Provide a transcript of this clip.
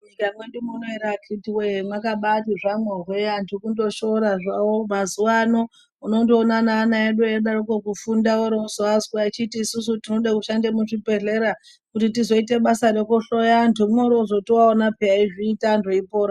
Mu nyika medu muno ere akiti wee makabai zvamwo hwe antu kungo shora zvawo mazuva ano unondoona ne ana edu eidaroko kufunda ori kuzovanzwa kuti isusu tinozoda ku shanda mu zvi bhedhleya kuti tizoita basa reku hloya vantu ori wozotoovawona veizviita antu eipora.